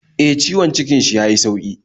E, ciwon cikin shi ya yi sauki.